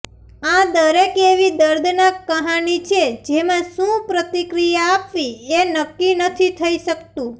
આ દરેક એવી દર્દનાક કહાની છે જેમાં શું પ્રતિક્રિયા આપવી એ નક્કી નથી થઈ શકતું